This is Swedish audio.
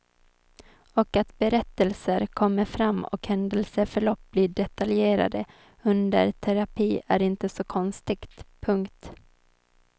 Och att berättelser kommer fram och händelsförlopp blir detaljerade under terapi är inte så konstigt. punkt